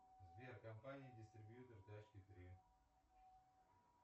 сбер компания дистрибьютор тачки три